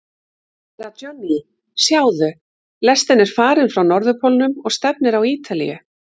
Herra Johnny, sjáðu, lestin er farin frá Norðurpólnum og stefnir á Ítalíu.